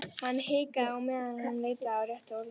Hann hikaði á meðan hann leitaði að réttu orðunum.